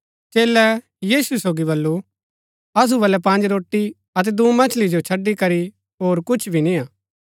चेलै यीशु सोगी बल्लू असु बलै पँज रोटी अतै दूँ मछली जो छड़ी करी होर कुछ भी निय्आ